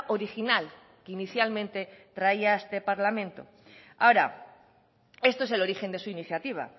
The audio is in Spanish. original que inicialmente traía a este parlamento ahora esto es el origen de su iniciativa